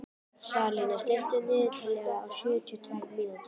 Salína, stilltu niðurteljara á sjötíu og tvær mínútur.